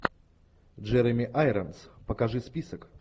джереми айронс покажи список